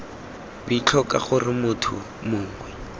b tlhoka gore motho mongwe